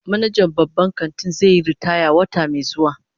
Manajan babban kantin zai yi ritaya wata mai zuwa